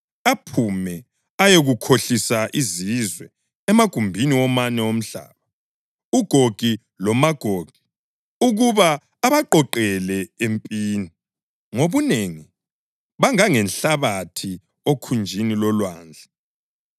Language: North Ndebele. aphume ukuyakhohlisa izizwe emagumbini womane omhlaba, uGogi loMagogi, ukuba abaqoqele empini. Ngobunengi bangangenhlabathi okhunjini lolwandle.